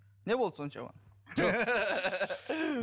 не болды соншама